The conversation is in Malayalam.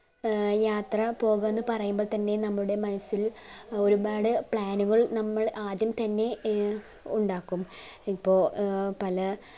ഏർ യാത്ര പോകാം എന്നു പറയുമ്പ തന്നെ നമ്മുടെ മനസ്സിൽ ഒരുപാടു plan ഉകൾ നമ്മൾ ആദ്യം തന്നെ എ ഉണ്ടാകും ഇപ്പൊ ഏർ പല